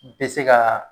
Bɛ se ka